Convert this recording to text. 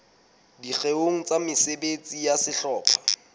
dikgeong tsa mesebetsi ya sehlopha